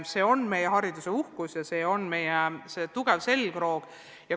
See on meie hariduse uhkus ja meie süsteemi tugev selgroog.